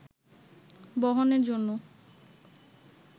বহনের জন্য